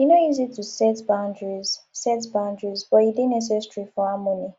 e no easy to set boundaries set boundaries but e dey necessary for harmony